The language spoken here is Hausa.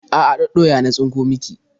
A'a, ɗaɗɗoya na tsinko miki.